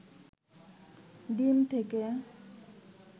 ডিম থেকে